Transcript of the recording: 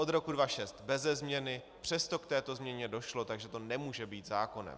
Od roku 2006 beze změny, přesto k této změně došlo, takže to nemůže být zákonem.